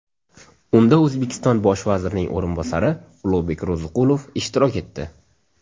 Unda O‘zbekiston Bosh vazirining o‘rinbosari Ulug‘bek Ro‘ziqulov ishtirok etdi.